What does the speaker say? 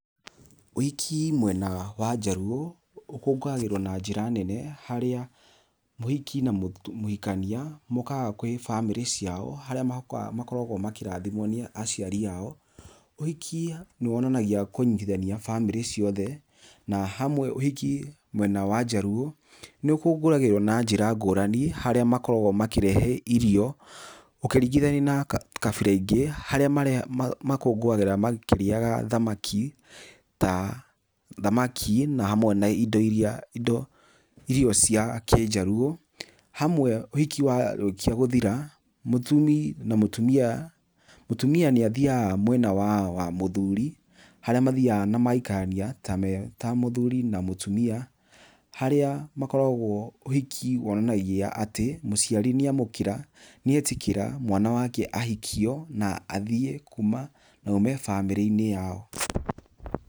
Ũhiki mwena wa njaruo ũkũngũagĩrwo na njĩra nene harĩa mũhiki na mũhikania mokaga kwĩ bamĩrĩ ciao harĩa makoragwo makĩrathimwo nĩ aciari ao. Ũhiki nĩ wonanagia kũnyitithania bamĩrĩ ciothe na hamwe ũhiki mwena wa njaruo nĩ ũkũngũagĩrwo na njĩra ngurani harĩa makoragwo makĩrehe irio ũkĩringithania na kabira ingĩ harĩa makũngũagĩra makĩrĩaga thamaki na hamwe na irio cia kĩ-njaruo. Hamwe ũhiki warĩkia gũthira, mũthuri na mũtumia, mũtumia nĩ athiaga mwena wa mũthuri harĩa mathiaga na magaikarania ta mũthuri na mũtumia, haria makoragwo, ũhiki wonanagia atĩ mũciari nĩamũkĩra, nĩetĩkĩra mwana wake ahikio na athiĩ na oime bamĩrĩ-inĩ yao.